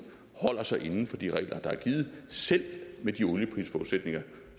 holder sig inden for de regler der er givet selv med de olieprisforudsætninger